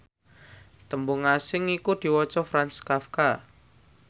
tembung asing iku diwaca Franz Kafka